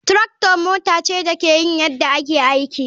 Tractor mota ce da ke yin yadda ake aiki.